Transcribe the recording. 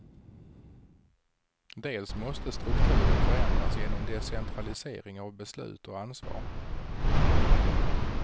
Dels måste strukturen förändras genom decentralisering av beslut och ansvar.